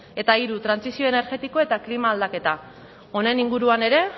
eta hiru trantsizio energetikoa eta klima aldaketa honen inguruan ere